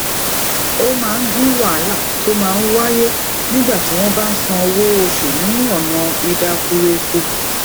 ó máa dín wàhálà tó máa ń wáyé nígbà tí wón bá ń san owó oṣù ni ona idakureku